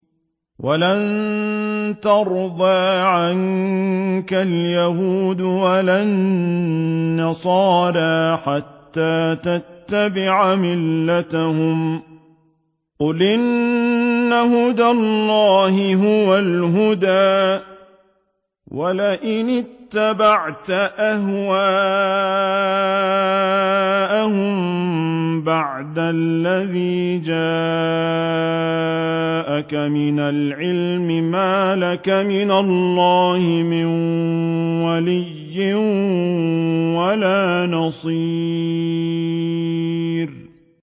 وَلَن تَرْضَىٰ عَنكَ الْيَهُودُ وَلَا النَّصَارَىٰ حَتَّىٰ تَتَّبِعَ مِلَّتَهُمْ ۗ قُلْ إِنَّ هُدَى اللَّهِ هُوَ الْهُدَىٰ ۗ وَلَئِنِ اتَّبَعْتَ أَهْوَاءَهُم بَعْدَ الَّذِي جَاءَكَ مِنَ الْعِلْمِ ۙ مَا لَكَ مِنَ اللَّهِ مِن وَلِيٍّ وَلَا نَصِيرٍ